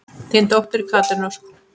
Þín dóttir, Katrín Ósk.